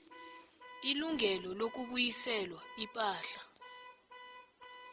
ilungelo lokubuyiselwa ipahla